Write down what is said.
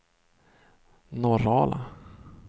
Norrala